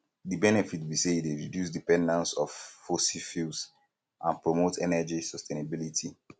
di benefit be say e dey reduce dependence of fossil fuels and promote energy sustainability